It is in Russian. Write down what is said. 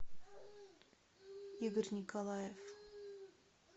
игорь николаев